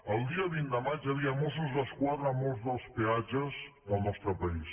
el dia vint de maig hi havia mossos d’esquadra a molts dels peatges del nostre país